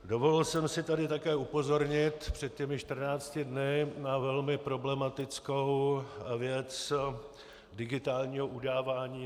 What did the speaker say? Dovolil jsem si tady také upozornit před těmi 14 dny na velmi problematickou věc digitálního udávání.